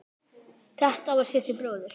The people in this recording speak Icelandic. Þetta var Siggi bróðir.